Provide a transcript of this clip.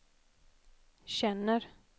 känner